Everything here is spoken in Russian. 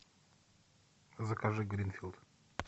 закажи гринфилд